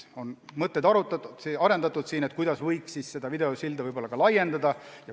On arendatud mõtteid, kuidas võiks videosilda vajaduse korral laiendada.